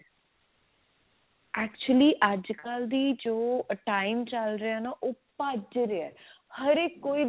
actually ਅੱਜਕਲ ਦੀ ਜੋ time ਚੱਲ ਰਿਹਾ ਨਾ ਉਹ ਭੱਜ ਰਿਹਾ ਹਰੇਕ ਕੋਈ